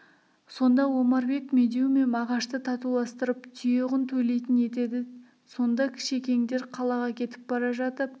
сонда омарбек медеу мен мағашты татуластырып түйе құн төлейтін етеді сонда кішекеңдер қалаға кетіп бара жатып